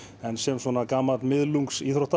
en sem gamall